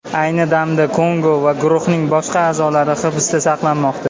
Ayni damda Kongo va guruhning boshqa a’zolari hibsda saqlanmoqda.